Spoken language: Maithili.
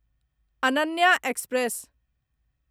अनन्या एक्सप्रेस